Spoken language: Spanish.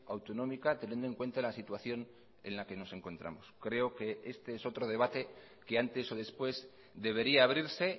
autonómica teniendo en cuenta la situación en la que nos encontramos creo que este es otro debate que antes o después debería abrirse